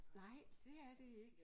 Nej det er det ikke